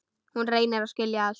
Hún reynir að skilja allt.